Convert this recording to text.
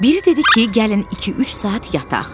Biri dedi ki, gəlin iki-üç saat yataq.